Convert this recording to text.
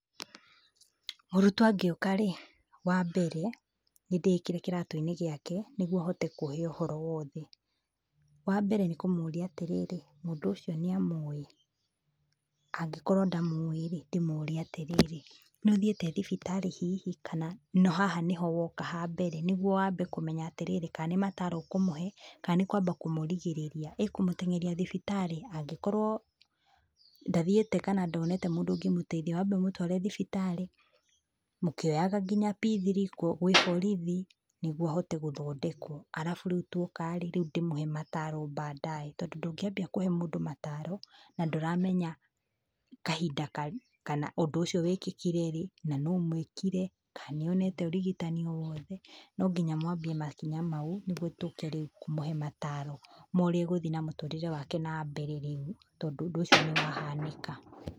Mũrutwo angĩũka-rĩ, wambere, nĩndĩĩkĩre kĩratũ-inĩ gĩake, nĩguo ahote kũhe ũhoro wothe. Wambere nĩ kũmũria atĩrĩrĩ, mũndũ ũcio nĩamũĩ. Angĩkorwo ndamũĩ-rĩ, ndĩmũrie atĩrĩrĩ, nĩũthiĩte thibitarĩ hihi, kana, haha nĩho woka hambere. Nĩgũo wambe kũmenya atĩrĩrĩ kana nĩ mataro ũkũmũhe, kana nĩ kwamba kũmũrigĩrĩria, ĩ kũmũtengeria thibitarĩ, angĩkorwo ndathiĩte kana ndonete mundũ ũngĩmũteithia wambe ũmũtware thibitarĩ, mũkioyaga nginya P three gwĩ borithi, nĩguo ahote gũthondekwo. alafu rĩu tuoka-rĩ, rĩu ndĩmũhe mataro baadaye. Tondũ ndũngĩambia kũhe mũndũ mataro, na ndũramenya kahinda kana ũndũ ũcio wĩkĩkire rĩ, na nũũ ũmwĩkire, kana nĩonete ũrigitani o wothe. No nginya mwambie makinya mau, nĩguo tũke rĩu kũmũhe mataro, ma ũrĩa egũthiĩ na mũtũrĩre wake nambere rĩu, tondũ ũndũ ũcio nĩwahanĩka.